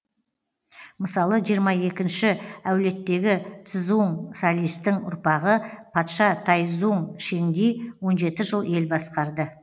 мысалы жиырма екінші әулеттегі цзуң салистің ұрпағы патша тайцзуң шеңди он жеті жыл ел басқарды